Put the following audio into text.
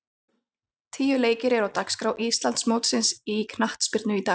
Tíu leikir eru á dagskrá Íslandsmótsins í knattspyrnu í dag.